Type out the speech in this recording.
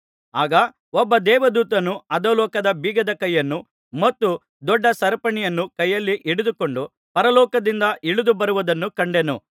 ಆಗ ಒಬ್ಬ ದೇವದೂತನು ಅಧೋಲೋಕದ ಬೀಗದ ಕೈಯನ್ನೂ ಮತ್ತು ದೊಡ್ಡ ಸರಪಣಿಯನ್ನೂ ಕೈಯಲ್ಲಿ ಹಿಡಿದುಕೊಂಡು ಪರಲೋಕದಿಂದ ಇಳಿದು ಬರುವುದನ್ನು ಕಂಡೆನು